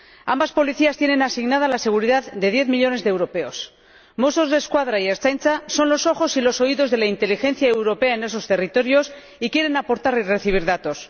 Ambas policías tienen asignadas la seguridad de diez millones de europeos Mossos d'Esquadra y Ertzaintza son los ojos y los oídos de la inteligencia europea en esos territorios y quieren aportar y recibir datos.